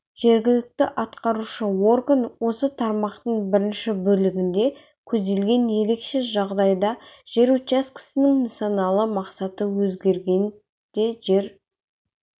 жергілікті атқарушы орган осы тармақтың бірінші бөлігінде көзделген ерекше жағдайда жер учаскесінің нысаналы мақсаты өзгергенде жер